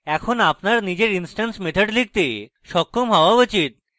এখন আপনার নিজের instance methods লিখতে সক্ষম হওয়া উচিত